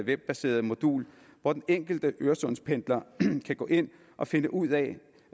webbaseret modul hvor den enkelte øresundspendler kan gå ind og finde ud af